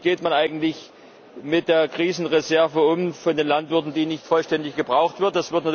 Wie geht man eigentlich mit der Krisenreserve der Landwirte um, die nicht vollständig gebraucht wird?